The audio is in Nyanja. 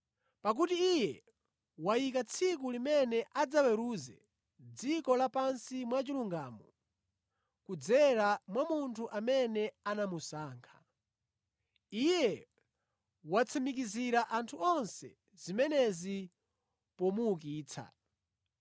Pakuti Iye wayika tsiku limene adzaweruze dziko lapansi mwa chilungamo kudzera mwa Munthu amene anamusankha. Iye watsimikizira anthu onse zimenezi pomuukitsa.”